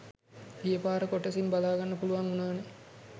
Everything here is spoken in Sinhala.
ගියපාර කොටසින් බලාගන්න පුලුවන් උනානේ